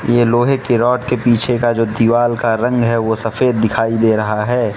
ये लोहे के रॉड के पीछे का जो दीवाल का रंग है वो सफेद दिखाई दे रहा है।